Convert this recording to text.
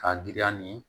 K'a giriya ni